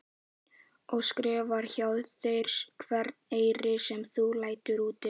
Og skrifar hjá þér hvern eyri sem þú lætur úti?